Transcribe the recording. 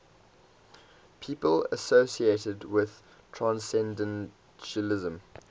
people associated with transcendentalism